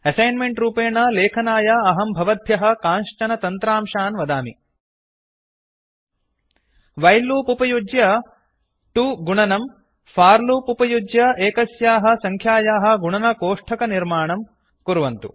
assignment रूपेण लेखनाय अहं भवद्भ्यः कांश्चन तन्त्रांशान् वदामि व्हिले लूप् उपयुज्य 2 गुणनम् फोर लूप् उपयुज्य एकस्याः सङ्ख्यायाः गुणनकोष्ठकनिर्माणं कुर्वन्तु